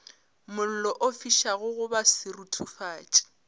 mollo o fišago goba seruthufatši